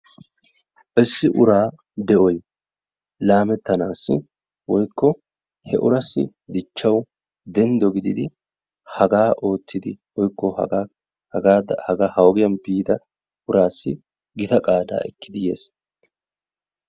Issi uraa de'oy laametanaassi woykko he uraaassi dichchawu denddo gididi hagaa oottidi woykko hagaa hagaadan ha ogiyan biida uraassi gida qaadaa ekkidi yiis.